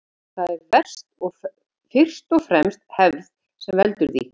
Það er fyrst og fremst hefð sem veldur því.